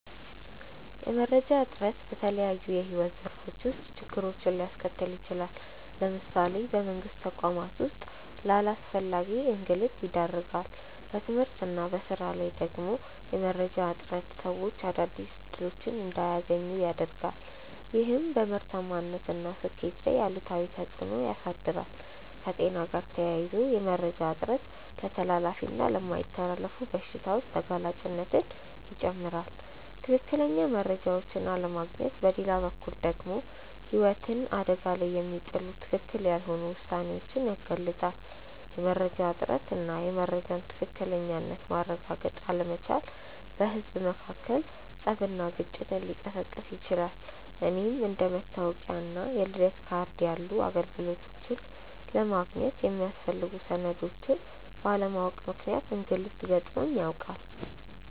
የመረጃ እጥረት በተለያዩ የሕይወት ዘርፎች ውስጥ ችግሮችን ሊያስከትል ይችላል። ለምሳሌ በመንግስት ተቋማት ውስጥ ለአላስፈላጊ እንግልት ይዳርጋል። በትምህርት እና በሥራ ላይ ደግሞ የመረጃ እጥረት ሰዎች አዳዲስ እድሎች እንዳያገኙ ያረጋል፤ ይህም በምርታማነት እና ስኬት ላይ አሉታዊ ተፅእኖ ያሳድራል። ከጤና ጋር ተያይዞ የመረጃ እጥረት ለተላላፊ እና የማይተላለፉ በሽታዎች ተጋላጭነትን ይጨምራል። ትክክለኛ መረጃዎችን አለማግኘት በሌላ በኩል ደግሞ ህይወትን አደጋ ላይ የሚጥሉ ትክክል ያልሆኑ ውሳኔዎችን ያጋልጣል። የመረጃ እጥረት እና የመረጃን ትክክለኝነት ማረጋገጥ አለመቻል በህዝብ መካከል ፀብና ግጭትን ሊቀሰቅስ ይችላል። እኔም አንደ መታወቂያ እና የልደት ካርድ ያሉ አገልግሎቶችን ለማግኘት የሚያስፈልጉ ሰነዶችን ባለማወቅ ምክንያት እንግልት ገጥሞኝ ያውቃል።